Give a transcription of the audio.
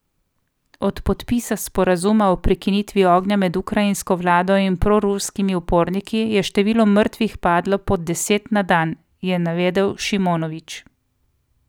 Od podpisa sporazuma o prekinitvi ognja med ukrajinsko vlado in proruskimi uporniki je število mrtvih padlo pod deset na dan, je navedel Šimonović.